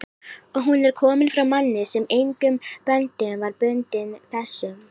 og hún er komin frá manni, sem engum böndum var bundinn þessum